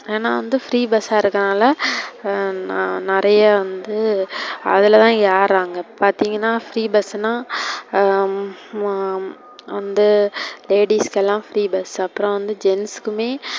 ஏன்னா வந்து free bus ஆ இங்குறனால நெறைய வந்து அதுல தான் ஏர்றாங்க, பாத்திங்கனா free bus னா ஹம் வந்து ladies எல்லாம் free bus அப்றம் வந்து gents குமே.